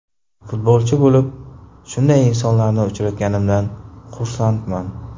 Futbolchi bo‘lib, shunday insonlarni uchratganimdan xursandman.